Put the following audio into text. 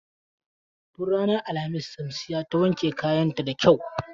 Tun ranar alhamis Shamsiyya ta wanke kayan ta da kyau.